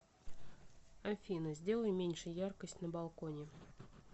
афина сделай меньше яркость на балконе